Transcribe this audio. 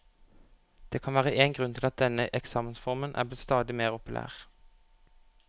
Det kan være én grunn til at denne eksamensformen er blitt stadig mer populær.